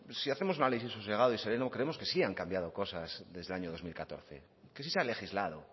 si hacemos un análisis sosegado y sereno creemos que sí han cambiado cosas desde el año dos mil catorce que sí se ha legislado